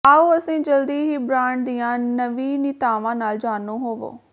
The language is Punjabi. ਆਉ ਅਸੀਂ ਜਲਦੀ ਹੀ ਬ੍ਰਾਂਡ ਦੀਆਂ ਨਵੀਨੀਤਾਵਾਂ ਨਾਲ ਜਾਣੂ ਹੋਵੋ